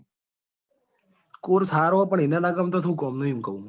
Course સારો છે પણ એને નાં ગમતો હોય તો શું કામ નું?